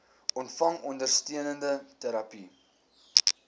ontvang ondersteunende terapie